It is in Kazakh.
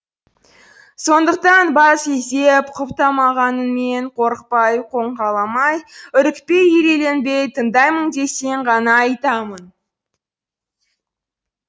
сондықтан бас изеп құптамағаныңмен қорықпай қоңқаламай үрікпей үрейленбей тыңдаймын десең ғана айтамын